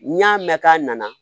N'i y'a mɛn k'a nana